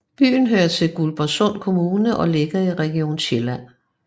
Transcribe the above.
Byen hører til Guldborgsund Kommune og ligger i Region Sjælland